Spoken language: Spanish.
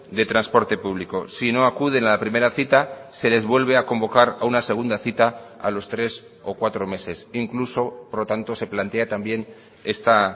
de transporte público si no acuden a la primera cita se les vuelve a convocar a una segunda cita a los tres o cuatro meses incluso por lo tanto se plantea también esta